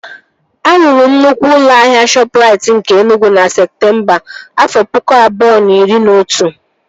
A rụrụ nnukwu ụlọ ahịa Shọpụrait nke Enugwu na Septemba, afọ pụkụ abụọ na iri na otu